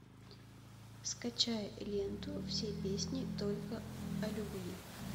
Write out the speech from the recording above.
скачай ленту все песни только о любви